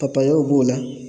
b'o la